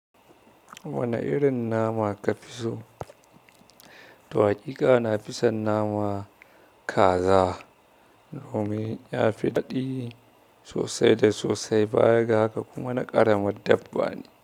Wane irin nama ka fi so? Toh haƙiƙa na fi son nama kaza. Domin ya fi daɗi sosai da sosai, baya ga haka kuma na ƙara ma dabba ne.